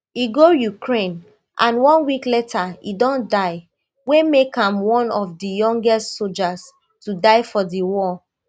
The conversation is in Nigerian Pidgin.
e go ukraine and one week later e don die wey make am one of di youngest sojas to die for di war